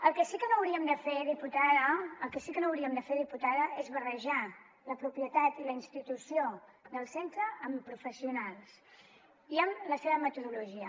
el que sí que no hauríem de fer diputada el que sí que no hauríem de fer diputada és barrejar la propietat i la institució del centre amb professionals i amb la seva metodologia